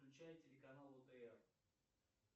включай телеканал отр